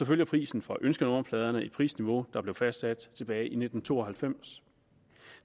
følger prisen for ønskenummerpladen et prisniveau der blev fastsat tilbage i nitten to og halvfems